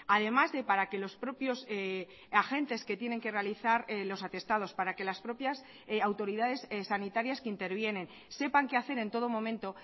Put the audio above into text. además de para que los propios agentes que tienen que realizar los atestados para que las propias autoridades sanitarias que intervienen sepan que hacer en todo momento